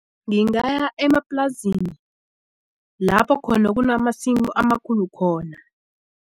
Ngingaya emaplasini lapho khona kunamasimu amakhulu khona.